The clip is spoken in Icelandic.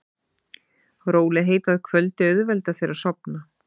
Rólegheit að kvöldi auðvelda þér að sofna.